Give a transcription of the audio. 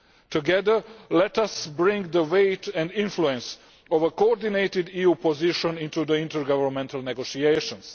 Together let us bring the weight and influence of a coordinated EU position into the intergovernmental negotiations.